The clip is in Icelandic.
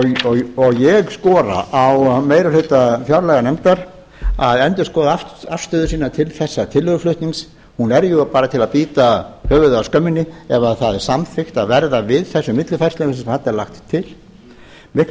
og ég skora á meiri hluta fjárlaganefndar að endurskoða afstöðu sína til þessa tillöguflutnings hún er jú bara til að bíta höfuðið af skömminni ef það er samþykkt að verða við þessum millifærslum sem þarna er lagt til miklu